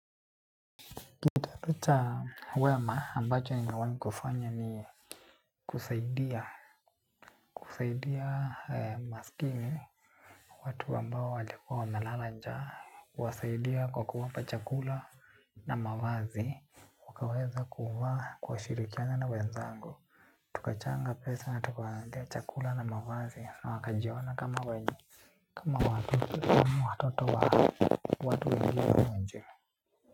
Kitendo cha wema ambacho nimewai kufanya ni kusaidia. Kusaidia masikini watu ambao walikua wamelala njaa. Kuwasaidia kwa kuwapa chakula na mavazi. Wakaweza kuwa kushirikiana na wenzangu. Tukachanga pesa na tukawanunulia chakula na mavazi na wakajiona kama wenye. Kama watu kama watoto wa watu wengine wa nje.